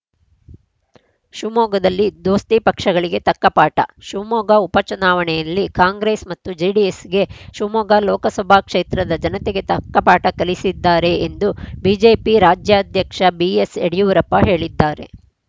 ಶಿವಮೊಗ್ಗದಲ್ಲಿ ದೋಸ್ತಿ ಪಕ್ಷಗಳಿಗೆ ತಕ್ಕ ಪಾಠ ಶಿವಮೊಗ್ಗ ಉಪಚುನಾವಣೆಯಲ್ಲಿ ಕಾಂಗ್ರೆಸ್‌ ಮತ್ತು ಜೆಡಿಎಸ್‌ಗೆ ಶಿವಮೊಗ್ಗ ಲೋಕಸಭಾ ಕ್ಷೇತ್ರದ ಜನತೆ ತಕ್ಕ ಪಾಠ ಕಲಿಸಿದ್ದಾರೆ ಎಂದು ಬಿಜೆಪಿ ರಾಜ್ಯಾಧ್ಯಕ್ಷ ಬಿಎಸ್‌ಯಡಿಯೂರಪ್ಪ ಹೇಳಿದ್ದಾರೆ